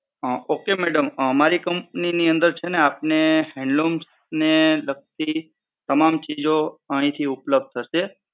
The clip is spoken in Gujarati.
હમ Okay Madam અમારી Company ની અંદર છે ને હૅન્ડલૂમને લગતી તમામ ચીજો અહીથી ઉપલબ્ધ થશે.